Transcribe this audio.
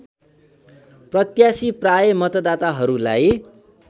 प्रत्याशी प्राय मतदाताहरूलाई